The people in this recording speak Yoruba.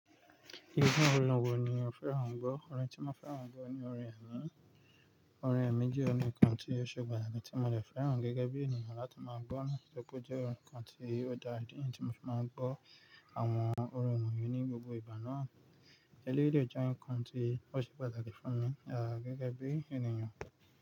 Irú orin wo ni o fẹ́ràn gbọ́? Orin tí mo fẹ́ràn gan ni orin ẹ̀mí. Orin ẹ̀mí jẹ́ orin kan tí ó ṣe pàtàkì tí mo dẹ̀ fẹ́ràn gẹ́gẹ́ bí ènìyàn láti máa gbọ́. Nítorí pé ó jẹ́ ǹkan tí ó dá ìdí nìyí tí mo fi máa ń gbọ́ àwọn orin wọ̀nyí ní gbogbo ìgbà náà. Eléyìí dẹ̀ jẹ́ ǹkan tí ó ṣe pàtàkì fún mi, à, gẹ́gẹ́ bí ènìyàn.